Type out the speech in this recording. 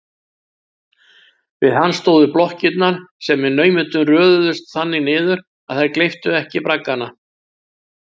Við hann stóðu blokkirnar, sem með naumindum röðuðust þannig niður að þær gleyptu ekki braggana.